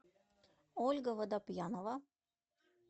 ольга водопьянова